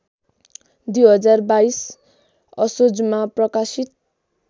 २०२२ असोजमा प्रकाशित